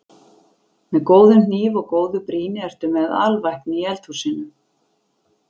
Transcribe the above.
Með góðum hníf og góðu brýni ertu með alvæpni í eldhúsinu.